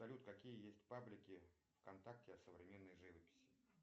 салют какие есть паблики в контакте о современной живописи